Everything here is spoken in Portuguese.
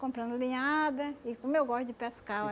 Comprando linhada, e como eu gosto de pescar,